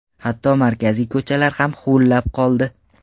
Hatto markaziy ko‘chalar ham huvullab qoldi.